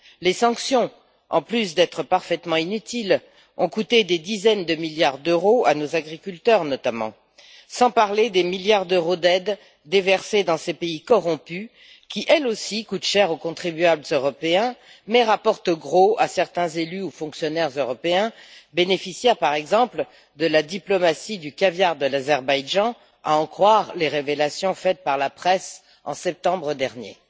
Les sanctions, en plus d'être parfaitement inutiles, ont coûté des dizaines de milliards d'euros à nos agriculteurs, notamment, sans parler des milliards d'euros d'aides déversés dans ces pays corrompus qui, elles aussi, coûtent cher aux contribuables européens, mais rapportent gros à certains élus ou fonctionnaires européens bénéficiaires, par exemple, de la diplomatie du caviar de l'Azerbaïdjan, à en croire les révélations faites par la presse en septembre dernier.